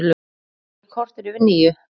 Klukkan korter yfir níu